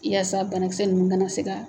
I yaasa bana kisɛ ninnu kana se ka